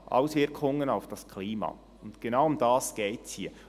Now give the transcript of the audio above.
«Auswirkungen auf das Klima», denn genau darum geht es hier.